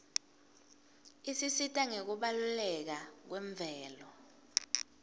isisita ngekubaluleka kwemvelo